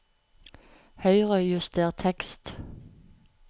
Høyrejuster tekst